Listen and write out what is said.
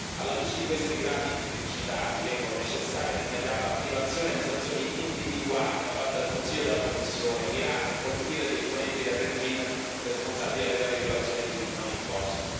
Alla luce di queste gravi criticità ritengo necessaria l'immediata attivazione di sanzioni individuali da parte del Consiglio e della Commissione mirate a colpire gli esponenti del regime responsabile delle gravi violazioni dei diritti umani in corso.